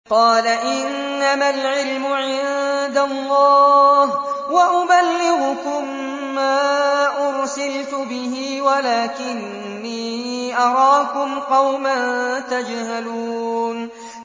قَالَ إِنَّمَا الْعِلْمُ عِندَ اللَّهِ وَأُبَلِّغُكُم مَّا أُرْسِلْتُ بِهِ وَلَٰكِنِّي أَرَاكُمْ قَوْمًا تَجْهَلُونَ